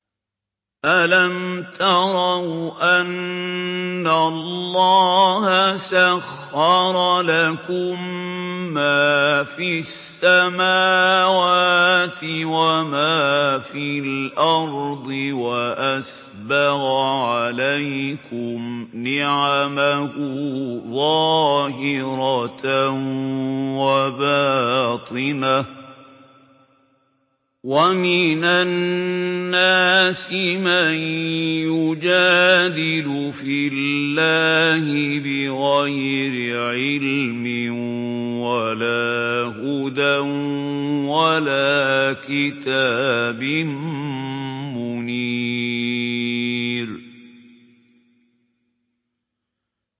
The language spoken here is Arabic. أَلَمْ تَرَوْا أَنَّ اللَّهَ سَخَّرَ لَكُم مَّا فِي السَّمَاوَاتِ وَمَا فِي الْأَرْضِ وَأَسْبَغَ عَلَيْكُمْ نِعَمَهُ ظَاهِرَةً وَبَاطِنَةً ۗ وَمِنَ النَّاسِ مَن يُجَادِلُ فِي اللَّهِ بِغَيْرِ عِلْمٍ وَلَا هُدًى وَلَا كِتَابٍ مُّنِيرٍ